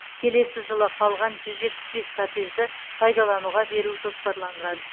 келесі жылы қалған жүз жетпіс бес коттеджді пайдалануға беру жоспарланған